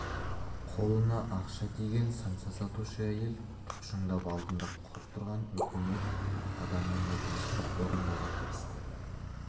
қолына ақша тиген самса сатушы әйел тұқшыңдап алдында тұрған үкімет адамының өтінішін орыңдауға кірісті